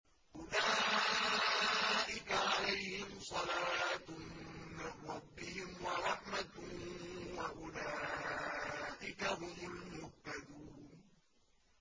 أُولَٰئِكَ عَلَيْهِمْ صَلَوَاتٌ مِّن رَّبِّهِمْ وَرَحْمَةٌ ۖ وَأُولَٰئِكَ هُمُ الْمُهْتَدُونَ